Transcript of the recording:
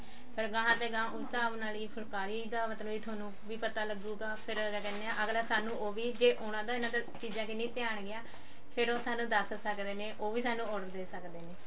ਫ਼ੇਰ ਗਹਾਂ ਤੇ ਗਹਾਂ ਉਸ ਹਿਸਾਬ ਨਾਲ ਹੀ ਫੁਲਕਾਰੀ ਦਾ ਮਤਲਬ ਵੀ ਥੋਨੁੰ ਵੀ ਪਤਾ ਲੱਗੂਗਾ ਫ਼ੇਰ ਅਗਲਾ ਕਹਿਨੇ ਆ ਅਗਲਾ ਸਾਨੂੰ ਉਹ ਵੀ ਜੇ ਉਹਨਾਂ ਦਾ ਇਹਨਾਂ ਦੇ ਚੀਜ਼ਾਂ ਕ੍ਨ੍ਹੀ ਧਿਆਨ ਗਿਆ ਫ਼ੇਰ ਉਹ ਸਾਨੂੰ ਦੱਸ ਸਕਦੇ ਨੇ ਉਹ ਵੀ ਸਾਨੂੰ order ਦੇ ਸਕਦੇ ਨੇ